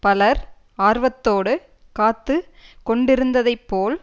பலர் ஆர்வத்தோடு காத்து கொண்டிருந்ததைப்போல்